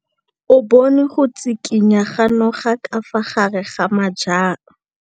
O bone go tshikinya ga noga ka fa gare ga majang.